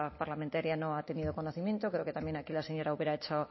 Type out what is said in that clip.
parlamentaria no ha tenido conocimiento creo que también aquí la señora ubera ha hecho